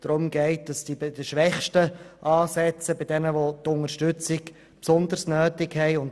Es soll bei den Schwächsten gespart werden, also bei jenen, die die Unterstützung besonders nötig haben.